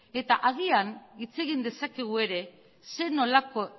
eta agian hitz egin dezakegu ere zer nolako